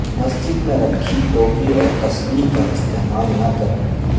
مسجد میں رکھی ٹوپی اور تصبیح کا استعمال نہ کریں